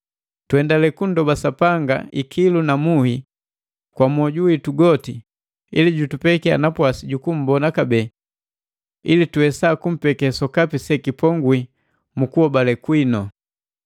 Tuendale kunndoba Sapanga ikilu na muhi kwa moju witu goti ili jutupekia napwasi ju kummbona kabee ili tuwesa tumpekiya sokapi sekipongwi mu kuhobale kwinu.